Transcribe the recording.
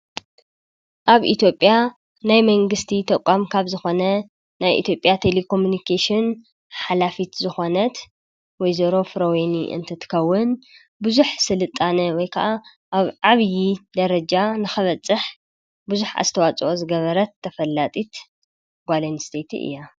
ኣብ ኢቲጴያ ናይ መንግሥቲ ተቛም ካብ ዝኾነ ናይ ኢቴጴያ ቴሌኮምምንቄሹን ኃላፊት ዝኾነት ወይዜሮፍ ሮወኒ እንትትከውን ብዙኅ ሥልጣነ ወይከዓ ኣብ ዓብዪ ደረጃ ንኸበጽሕ ብዙኅ ኣስተዋፅኦ ዝገበረት ተፈላጢት ጓልን ስኔቲ እያ::